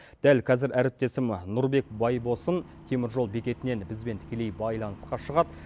дәл қазір әріптесім нұрбек байбосын темір жол бекетінен бізбен тікелей байланысқа шығады